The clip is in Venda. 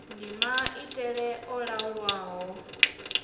ndi maitele a laulwaho a